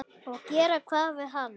Og gera hvað við hann?